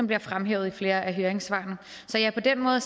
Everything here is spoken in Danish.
bliver fremhævet i flere af høringssvarene så ja på den måde